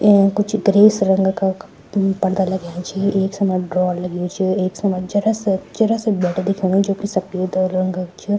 येम कुछ ग्रीस रंग का पड़दा लग्याँ छि एक समान ड्रावर लग्युं च एक समान जरा स जरा स बैठक दिख्येणु च जुकी सपेद रंग क।